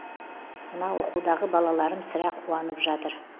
мына оқудағы балаларым сірә қуанып жатыр